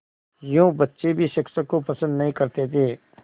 यूँ बच्चे भी शिक्षक को पसंद नहीं करते थे